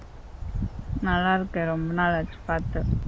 நல்லாயிருக்கேன் ரொம்ப நாளாச்சி பார்த்து